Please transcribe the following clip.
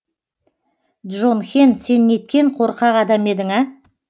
джонхен сен неткен қорқақ адам едің а